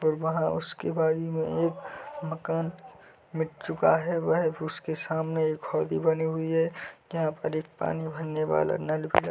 विबा है उसके बाजू मे एक मकान मिट चुका है वह उसके सामने एक खोली बनी हुई है यहाँ पर पानी एक भरने वाला नल भी --